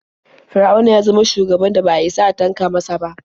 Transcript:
Fir'auna ya zama shugaban da ba a isa a tanka masa ba.